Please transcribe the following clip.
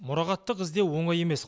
мұрағаттық іздеу оңай емес